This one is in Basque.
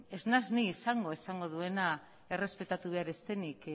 ez naiz ni izango esango duena errespetatu behar ez denik